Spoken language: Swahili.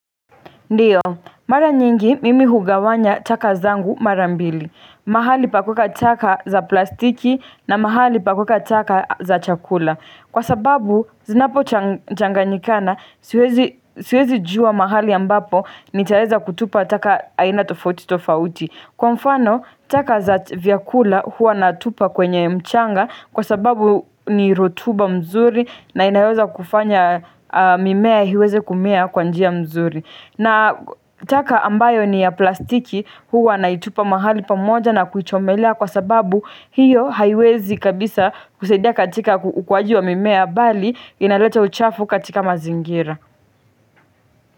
Ndiyo, mara nyingi mimi hugawanya chaka zangu marambili, mahali pakweka chaka za plastiki na mahali pakweka chaka za chakula Kwa sababu, zinapo changanyikana, siwezi juwa mahali ambapo nitaeza kutupa taka aina tofauti tofauti Kwa mfano, taka za vyakula huwa natupa kwenye mchanga kwa sababu ni rotuba mzuri na inayoweza kufanya mimea iweze kumea kwa njia mzuri na taka ambayo ni ya plastiki huwa na itupa mahali pamoja na kuichomelea kwa sababu hiyo haiwezi kabisa kusaidia katika ukuuaji wa mimea bali inaleta uchafu katika mazingira.